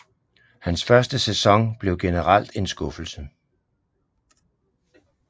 Hans første sæson blev generelt en skuffelse